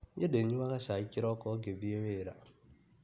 Niĩ ndinyuaga cai kĩroko ngĩthiĩ wĩra.